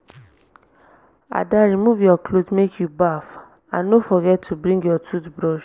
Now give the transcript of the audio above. ada remove your cloth make you baff and no forget to bring your tooth brush